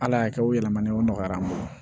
Ala y'a kɛ o yɛlɛmana o nɔgɔyara n bolo